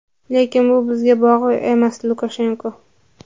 lekin bu bizga bog‘liq emas – Lukashenko.